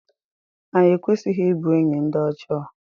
anyị ekwesịghị ịbụ enyi ndị ọjọọ